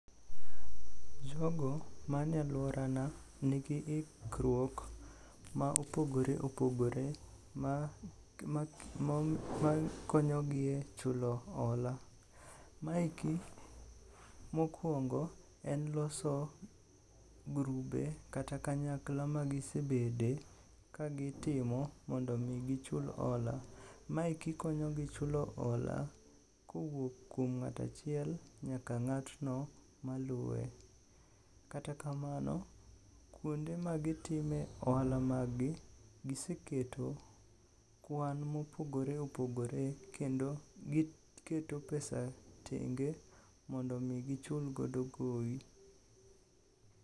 Jogo mane alworana nigi ikruok ma opogore opogore makonyogi e chulo hola. Maeki mokwongo en loso grube kata kanyakla magisebede kagitimo mondo omi gichul hola. Maeki konyogi chulo hola kowuok kuom ng'at achiel nyaka ng'atno maluwe. Kata kamano, kuonde magitime ohala maggi giseketo kwan ma opogore opogore kendo giketo pesa tenge mondo omi gichulgodo gowi.